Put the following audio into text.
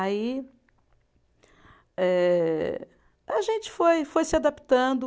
Aí ehh, a gente foi, foi se adaptando.